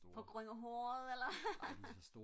på grund af håret eller hvad